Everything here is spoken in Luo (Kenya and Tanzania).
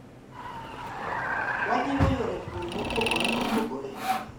Wajiwo yore pur mopogore opogore